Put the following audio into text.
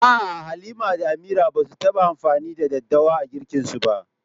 A’a, Halima da Amira ba su taɓa amfani da daddawa a girkinsu ba.